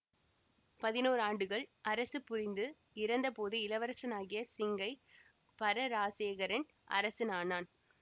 பதினோரு ஆண்டுகள் அரசுபுரிந்து இறந்த போது இளவரசன் ஆகிய சிங்கை பரராசசேகரன் அரசன் ஆனான்